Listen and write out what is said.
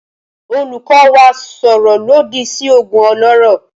Olùkọ́ wa sọ̀rọ̀ lòdì sí òògùn olóró